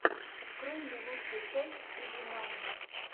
открой мне лучшую часть изи мани